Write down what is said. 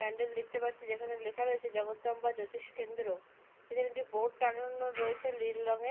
প্যান্ডেল দেখতে পাচ্ছি যেখানে জগদম্বা জ্যোতিষ কেন্দ্র। এখানে একটি বোর্ড টাঙানো রয়েছে লীল রংএর।